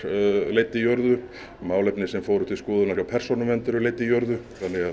leidd í jörðu málefni sem fóru til skoðunar hjá Persónuvernd eru leidd í jörðu